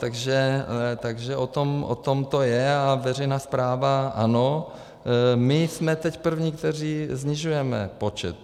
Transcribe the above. Takže o tom to je a veřejná správa - ano, my jsme teď první, kteří snižujeme počet.